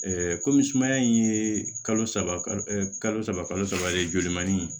kɔmi sumaya in ye kalo saba kalo saba kalo saba ye jolimanin